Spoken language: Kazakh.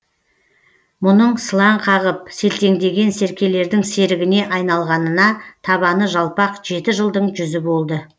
мұның сылаң қағып селтеңдеген серкелердің серігіне айналғанына табаны жалпақ жеті жылдың жүзі болды